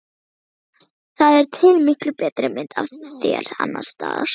Það er til miklu betri mynd af þér annars staðar.